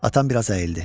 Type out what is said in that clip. Atam biraz əyildi.